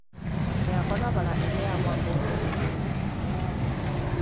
Miako ya bara iheagwo ngombo nĩ bengi nene ya thĩ